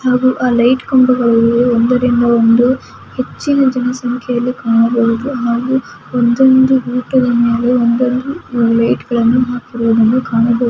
ಹಾಗೂ ಲೈಟ್ ಕಂಬಗಳಲ್ಲಿ ಒಂದರಿಂದ ಒಂದು ಹಚ್ಚಿನ ಜನಸಂಖ್ಯೆಯಲ್ಲಿ ಕಾಣಬಹುದು ಹಾಗೂ ಒಂದೊಂದು ರೂಟು ಗಳಲ್ಲಿ ಒಂದೊಂದು ಲೈಟ್ ಗಳನ್ನು ಹಾಕಿರೋದನ್ನು ಕಾಣಬಹುದು.